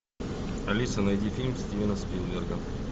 алиса найди фильм стивена спилберга